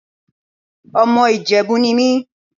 Ọmọ Ìjẹ̀bú ni mí.